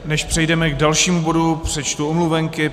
Než přejdeme k dalšímu bodu, přečtu omluvenky.